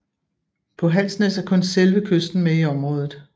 På Halsnæs er kun selve kysten med i området